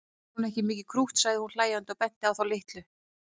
Er hún ekki mikið krútt sagði hún hlæjandi og benti á þá litlu.